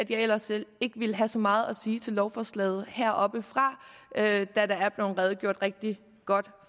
jeg ellers ikke ville have så meget at sige til lovforslaget heroppefra da der er blevet redegjort rigtig godt